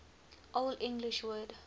old english word